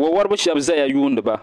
wawariba shɛba zaya n-yuuni ba